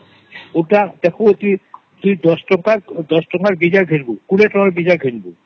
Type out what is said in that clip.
ସେଗା ଦଶ ଟଙ୍କା ରେ ଡେସିଜିନ୍ରୁ ଦେଖ କୋଡ଼ିଏ ଟଙ୍କା ରେ କିସ ଦେଖଃବୁ